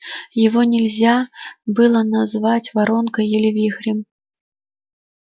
его нельзя было назвать воронкой или вихрем